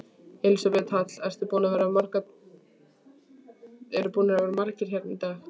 Elísabet Hall: Eru búnir að vera margir hérna í dag?